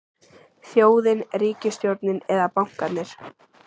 Þjóðin, ríkisstjórnin eða bankarnir?